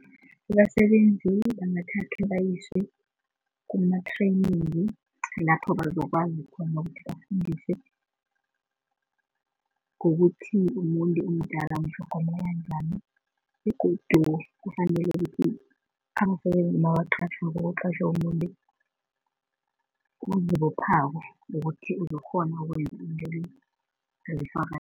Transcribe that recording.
Abasebenzi bangathathwa, bayiswe kuma-training lapho bazokwazi khona ukuthi bafundiswe, ngokuthi umuntu omdala umtlhogomela njani. Begodu kufanele ukuthi abasebenzi nabaqatjhwako, kuqatjhwe umuntu ozibophako ukuthi uzokghona ukwenza umsebenzi lo